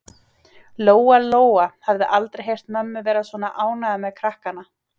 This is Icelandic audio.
Lóa Lóa hafði aldrei heyrt mömmu vera svona ánægða með krakkana.